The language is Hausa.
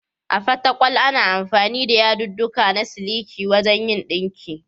A Fatakwal, ana amfani da yadudduka na siliki wajen yin ɗinki.